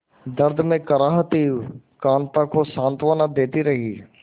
दर्द में कराहती कांता को सांत्वना देती रही